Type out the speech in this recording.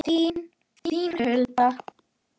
Þín, Hulda.